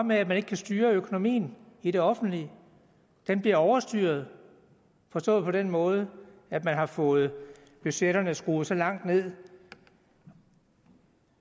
med at man ikke kan styre økonomien i det offentlige den bliver overstyret forstået på den måde at man har fået budgetterne skruet så langt ned